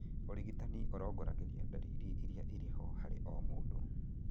ũrigitani ũrongoragĩria ndariri irĩa irĩho harĩ o mũndũ